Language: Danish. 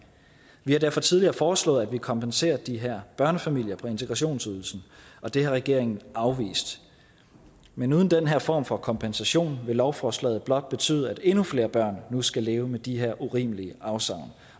vi har derfor tidligere foreslået at vi kompenserer de her børnefamilier på integrationsydelsen og det har regeringen afvist men uden den her form for kompensation vil lovforslaget blot betyde at endnu flere børn nu skal leve med de her urimelige afsavn